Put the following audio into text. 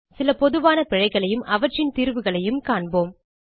சில பொதுவான பிழைகளையும் அவற்றின் தீர்வுகளையும் காண்போம்